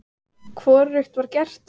Hvorugt var gert.